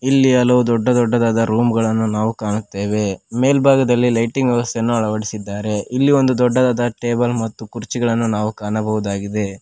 ಇಲ್ಲಿ ಹಲವು ದೊಡ್ಡ ದೊಡ್ಡದಾದ ರೂಮ್ ಗಳನ್ನು ನಾವು ಕಾಣುತ್ತೇವೆ ಮೇಲ್ಭಾಗದಲ್ಲಿ ಲೈಟಿಂಗ್ ವ್ಯವಸ್ಥೆಯನ್ನು ಅಳವಡಿಸಿದ್ದಾರೆ ಇಲ್ಲಿ ಒಂದು ದೊಡ್ಡದಾದ ಟೇಬಲ್ ಮತ್ತು ಕುರ್ಚಿಗಳನ್ನು ನಾವು ಕಾಣಬಹುದಾಗಿದೆ.